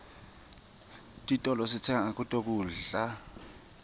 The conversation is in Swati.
titolo sitsenga kuto kudla